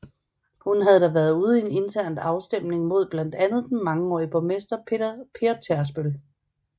Hun havde da været ude i en intern afstemning mod blandt andet den mangeårige borgmester Per Tærsbøl